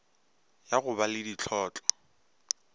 ya go ba le dihlotlo